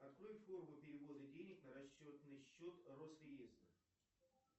открой форму перевода денег на расчетный счет росреестра